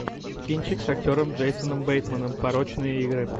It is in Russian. кинчик с актером джейсоном бейтманом порочные игры